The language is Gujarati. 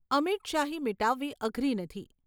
અમીટ શાહી મીટાવવી અઘરી નથી.